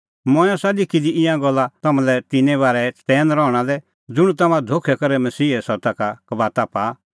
मंऐं आसा लिखी दी ईंयां गल्ला तम्हां लै तिन्नें बारै चतैन रहणा लै ज़ुंण तम्हां धोखै करै मसीहे सत्ता का कबाता पाआ